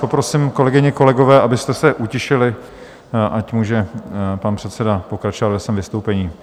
Poprosím, kolegyně, kolegové, abyste se utišili, ať může pan předseda pokračovat ve svém vystoupení.